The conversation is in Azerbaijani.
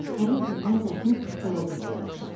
Həmin gündən Zərifin qara günləri başladı.